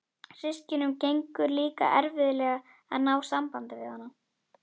Systkinunum gengur líka erfiðlega að ná sambandi við hana.